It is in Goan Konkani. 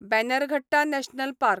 Bannerghatta national park